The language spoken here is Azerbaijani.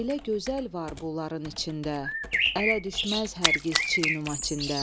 Elə gözəl var bunların içində, ələ düşməz hərkiz çinümaçində.